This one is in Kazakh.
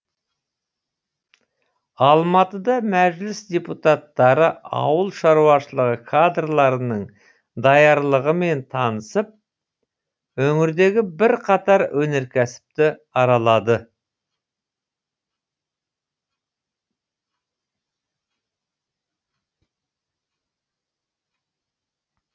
алматыда мәжіліс депутаттары ауыл шаруашылығы кадрларының даярлығымен танысып өңірдегі бірқатар өнеркәсіпті аралады